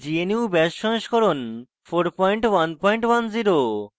gnu bash সংস্করণ 4110